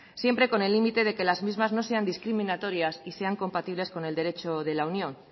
siempre con el límite de que las mismas no sean discriminatorias y sean compatibles con el derecho de la unión